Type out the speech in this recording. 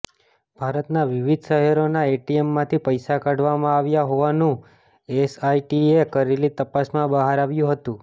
ભારતનાં વિવિધ શહેરોના એટીએમમાંથી પૈસા કાઢવામાં આવ્યા હોવાનું એસઆઇટીએ કરેલી તપાસમાં બહાર આવ્યું હતું